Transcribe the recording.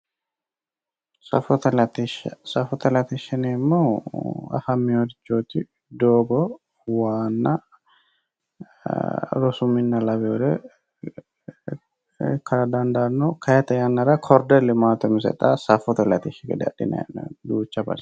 Safote latishsha, safote latishsha yinneemmo woyte afaminorichoti doogo, waa, rosu mine lawinore ikkara dandaano kayinni tene yannara korderi limate safote latishshi gede adha dandiineemmo.